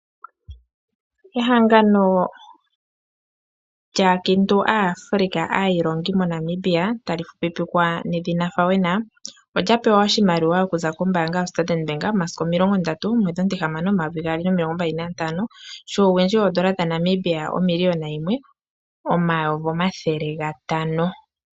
Ehangano lyaakiintu aaAfrica aayilongi moNamibia tali fupipikwa FAWENA, olya pewa oshimaliwa okuza kombaanga yo Standard Bank, omasiku omilongo ndatu, omwedhi omutihamano omayovi gaali nomilongo mbali na ntano, shuuwindji woondola dha Namibia omiliyona yimwe, omayovi omathele gatano.